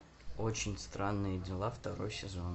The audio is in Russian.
очень странные дела второй сезон